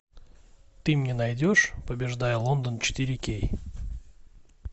ты мне найдешь побеждая лондон четыре кей